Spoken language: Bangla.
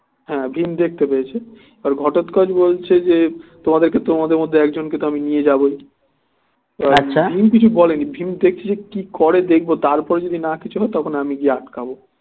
হ্যাঁ ভীম দেখতে পেয়েছে এবার ঘটোৎকচ বলছে যে তোমাদের কে তোমাদের মধ্যে একজন কে তো আমি নিয়ে যাবো ভীম কিছু বলে নি ভীম দেখছে যে কি করে দেখবো তারপরে যদি না কিছু হয় আমি গিয়ে আটকাব